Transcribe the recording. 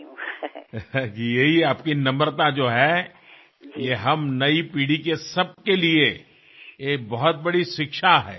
दिदी हा जो तुमच्या स्वभावातला विनम्रपणा आहे ही आमच्या नव्या पिढीसाठी आमच्यासाठी फार मोठी शिकवण आहे